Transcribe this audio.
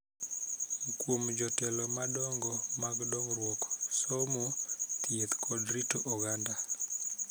Kuom jotelo madongo mag dongruok, somo, thieth, kod rito oganda